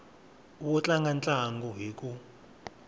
wo tlanga ntlangu hi ku